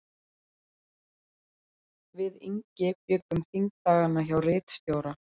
Við Ingi bjuggum þingdagana hjá ritstjóra